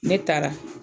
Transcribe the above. Ne taara